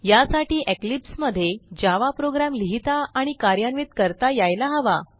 यासाठी इक्लिप्स मध्ये Java program लिहिता आणि कार्यान्वित करता यायला हवा